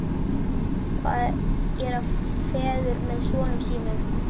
Hvað gera feður með sonum sínum?